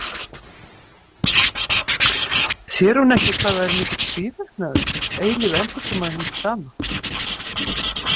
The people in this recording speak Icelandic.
Sér hún ekki hvað það er mikill tvíverknaður, eilíf endurkoma hins sama?